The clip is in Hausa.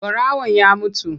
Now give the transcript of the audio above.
Ɓarawan ya mutu.